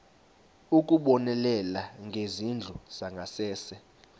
ukubonelela ngezindlu zangasese